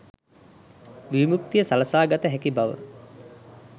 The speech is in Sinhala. විමුක්තිය සලසා ගත හැකි බව